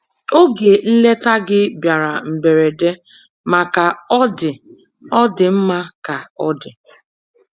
Oge nleta gị bịara mberede, ma ka ọ dị, ọ dị mma ka ọ dị.